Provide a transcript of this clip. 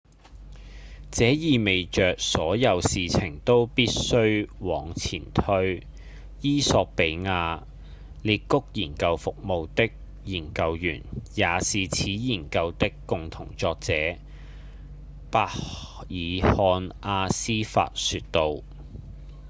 「這意味著所有事情都必須往前推」衣索比亞「裂谷研究服務」的研究員、也是此研究的共同作者──伯爾漢·阿斯法說道